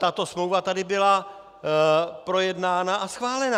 Tato smlouva tady byla projednána a schválena.